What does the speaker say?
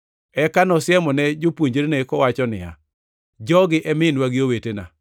Eka nosiemone jopuonjrene kowacho niya, “Jogi e minwa gi owetena.